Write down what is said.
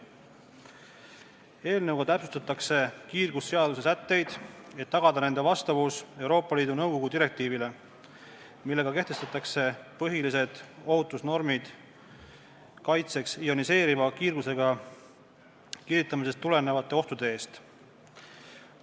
Eelnõuga täpsustatakse kiirgusseaduse sätteid, et tagada nende vastavus Euroopa Liidu Nõukogu direktiivile, millega kehtestatakse põhilised ohutusnormid kaitseks ioniseeriva kiirgusega kiiritamisest tulenevate ohtude eest.